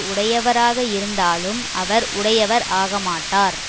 உடையவராக இருந்தாலும் அவர் உடையவர் ஆக மாட்டார்